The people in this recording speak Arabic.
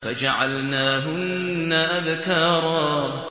فَجَعَلْنَاهُنَّ أَبْكَارًا